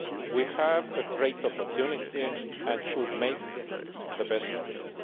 Market. We have a great opportunity, and we should make the best of it.